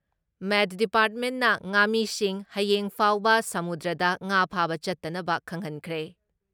ꯃꯦꯠ ꯗꯤꯄꯥꯔꯠꯃꯦꯟꯅ ꯉꯥꯃꯤꯁꯤꯡ ꯍꯌꯦꯡ ꯐꯥꯎꯕ ꯁꯃꯨꯗ꯭ꯔꯗ ꯉꯥ ꯐꯥꯕ ꯆꯠꯇꯅꯕ ꯈꯪꯍꯟꯈ꯭ꯔꯦ ꯫